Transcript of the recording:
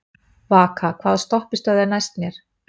Vaka, hvaða stoppistöð er næst mér?